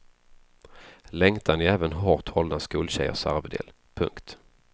Längtan är även hårt hållna skoltjejers arvedel. punkt